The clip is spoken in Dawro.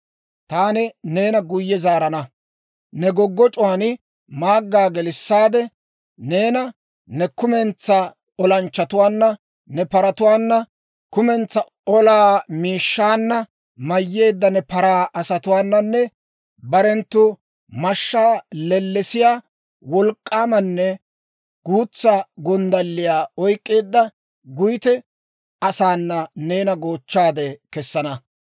Taani neena guyye zaarana; ne goggoc'c'uwaan maaggaa gelissaade, neena ne kumentsaa olanchchatuwaanna, ne paratuwaana, kumentsaa olaa miishshaa mayyeedda ne paraa asatuwaananne barenttu mashshaa lellesiyaa, wolk'k'aamanne guutsa gonddalliyaa oyk'k'eedda guyte asaana neena goochchaade kessana.